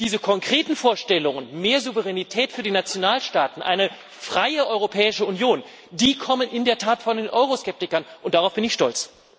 Diese konkreten Vorstellungen mehr Souveränität für die Nationalstaaten, eine freie Europäische Union kommen in der Tat von den Euroskeptikern, und darauf bin ich stolz.